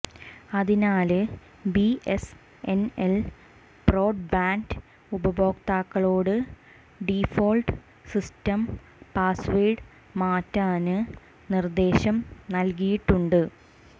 അതിനാല് BSNL broadband ഉപഭോക്താക്കളോട് default system password മാറ്റാന് നിര്ദ്ദേശം നല്കിയിട്ടുണ്ട്